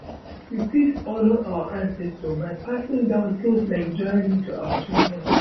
We fit honour ancestor by passing down things like jewelry to our children